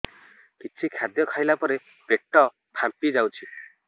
କିଛି ଖାଦ୍ୟ ଖାଇଲା ପରେ ପେଟ ଫାମ୍ପି ଯାଉଛି